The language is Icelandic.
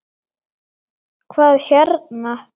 Hvað hérna.